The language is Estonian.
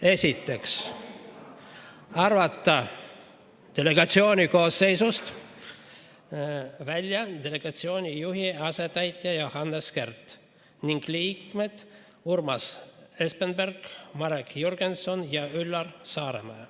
Esiteks, arvata delegatsiooni koosseisust välja delegatsiooni juhi asetäitja Johannes Kert ning liikmed Urmas Espenberg, Marek Jürgenson ja Üllar Saaremäe.